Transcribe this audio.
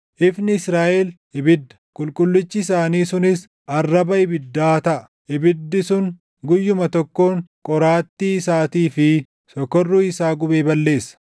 Ifni Israaʼel ibidda, Qulqullichi isaanii sunis arraba ibiddaa taʼa; ibiddi sun guyyuma tokkoon qoraattii isaatii fi sokorruu isaa gubee balleessa.